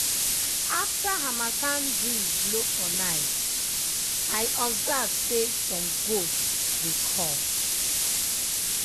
after harmattan breeze blow for night i observe say some goats dey cough.